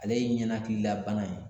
Ale ye ninakilila bana ye